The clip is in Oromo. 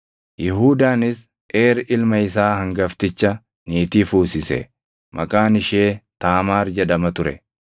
Yihuudaanis Eer ilma isaa hangafticha niitii fuusise; maqaan ishee Taamaar jedhama ture.